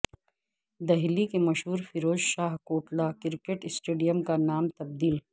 دہلی کے مشہور Feroz Shah Kotla cricket stadium کا نام تبدیل